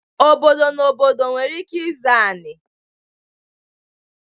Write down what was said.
Obodo na obodo nwere ike ịzọ anị.